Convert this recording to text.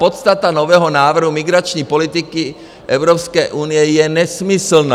Podstata nového návrhu migrační politiky Evropské unie je nesmyslná.